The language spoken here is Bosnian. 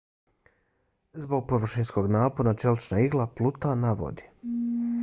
zbog površinskog napona čelična igla pluta na vodi